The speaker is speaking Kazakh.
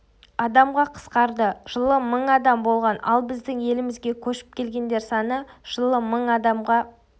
адамға қысқарды жылы мың адам болған ал біздің елімізге көшіп келгендер саны жылы мың адамға